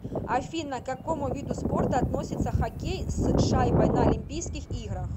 афина к какому виду спорта относится хоккей с шайбой на олимпийских играх